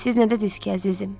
Siz nə dədiniz ki, əzizim?